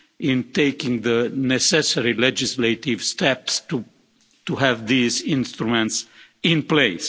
in taking the necessary legislative steps to have these instruments in place.